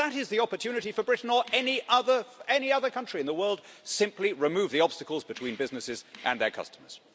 And that is the opportunity for Britain or any other country in the world simply remove the obstacles between businesses and their customers.